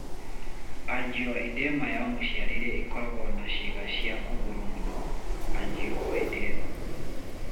Angioedema ya mũciarĩre ĩkoragwo na ciĩga cia kũgũrũ mũno (angioedema).